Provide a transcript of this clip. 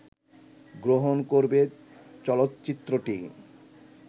গ্রহণ করবে চলচ্চিত্রটি